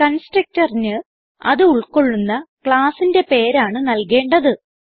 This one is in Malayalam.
Constructorന് അത് ഉൾകൊള്ളുന്ന ക്ലാസ്സിന്റെ പേരാണ് നൽകേണ്ടത്